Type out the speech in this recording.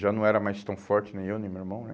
Já não era mais tão forte, nem eu, nem meu irmão, né?